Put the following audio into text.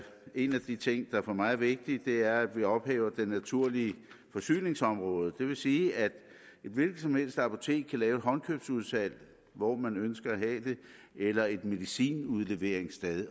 en af de ting der for mig er vigtig er at vi ophæver det naturlige forsyningsområde det vil sige at et hvilket som helst apotek kan lave et håndkøbsudsalg hvor man ønsker at have det eller et medicinudleveringssted